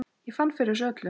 Ég fann fyrir þessu öllu.